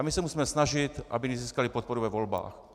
A my se musíme snažit, aby nezískali podporu ve volbách.